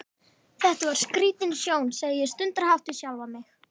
Þetta var skrítin sjón, segi ég stundarhátt við sjálfa mig.